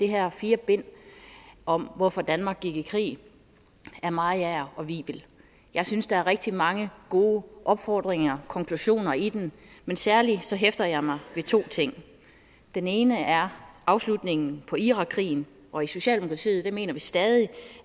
her fire bind om hvorfor danmark gik i krig af mariager og wivel jeg synes der er rigtig mange gode opfordringer og konklusioner i dem men særlig hæfter jeg mig ved to ting den ene er afslutningen på irakkrigen og i socialdemokratiet mener vi stadig